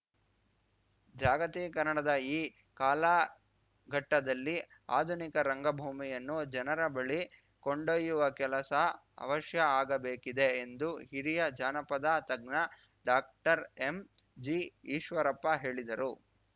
ಜಾಗತೀಕರಣದ ಈ ಕಾಲಘಟ್ಟದಲ್ಲಿ ಆಧುನಿಕ ರಂಗ ಭೂಮಿಯನ್ನು ಜನರ ಬಳಿ ಕೊಂಡೊಯ್ಯುವ ಕೆಲಸ ಅವಶ್ಯ ಆಗಬೇಕಿದೆ ಎಂದು ಹಿರಿಯ ಜಾನಪದ ತಜ್ಞ ಡಾಕ್ಟರ್ಎಂಜಿಈಶ್ವರಪ್ಪ ಹೇಳಿದರು